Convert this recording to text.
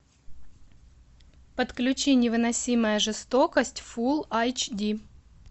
подключи невыносимая жестокость фул айч ди